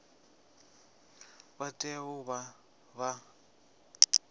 vha tea u vha vha